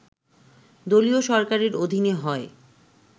দলীয় সরকারের অধীনে হয়